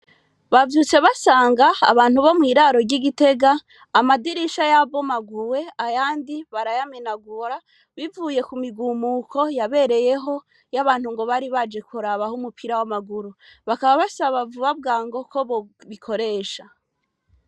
Bavyutse basanga abantu bo mwiraro igitega amadirisha yabomaguwe abandi barayamenagura bivuye kumigumuko yabereyeho y'abantu Bari baje kurabiraho umupira y'amaguru bakaba basababwango KO bobikoresha